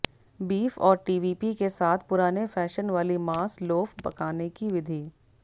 beef और TVP के साथ पुराने फैशन वाली मांस लोफ पकाने की विधि